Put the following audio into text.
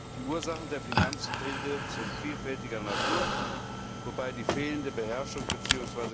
Die Ursachen der Finanzkrise sind vielfältiger Natur, wobei die fehlende Beherrschung bzw.